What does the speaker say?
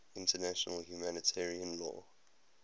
international humanitarian law